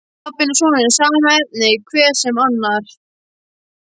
Pabbinn og sonurinn, sama efnið, hver sem annar.